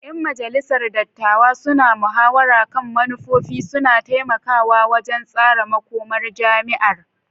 Yan majalisar dattawa suna muhawara kan manufofi, suna taimakawa wajen tsara makomar jami'ar.